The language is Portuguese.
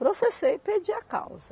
Processei e perdi a causa.